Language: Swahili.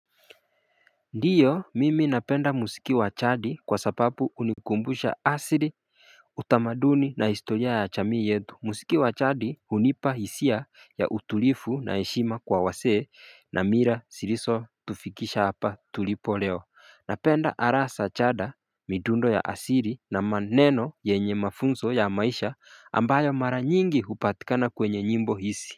Ndiyo mimi napenda muziki wa jadi kwa sababu unikumbusha asiri utamaduni na historia ya jamii yetu musiki wa jadi hunipa hisia ya utulifu na heshima kwa wasee na mila xilizo tufikisha hapa tulipo leo Napenda arasa chada midundo ya asiri na maneno yenye mafunzo ya maisha ambayo mara nyingi upatikana kwenye nyimbo hisi.